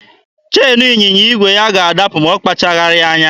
Cheenu ịnyịnya igwe ya ga-adapụ ma ọ kpacharaghị anya.